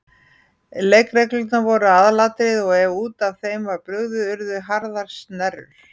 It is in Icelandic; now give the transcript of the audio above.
Leikreglurnar voru aðalatriði og ef út af þeim var brugðið urðu harðar snerrur.